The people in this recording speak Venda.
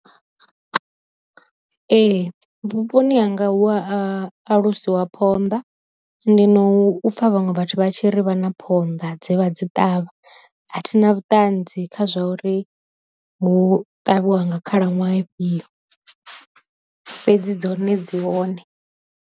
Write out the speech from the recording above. Ee vhuponi hanga hu a alusiwa phonḓa, ndi no pfa vhaṅwe vhathu vha tshi ri vha na phonḓa dze vha dzi ṱavha a thi na vhuṱanzi kha zwa uri hu ṱavhiwa nga khalaṅwaha ifhio, fhedzi dzone dzi hone.